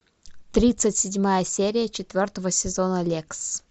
тридцать седьмая серия четвертого сезона лексс